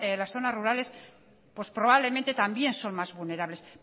las zonas rurales probablemente también son más vulnerables